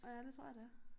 Ja det tror jeg det er